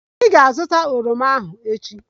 Ị ga-azụta oroma ahu echi!